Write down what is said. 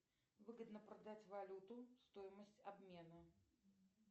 выгодно продать валюту стоимость обмена